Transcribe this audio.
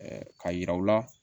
k'a yira u la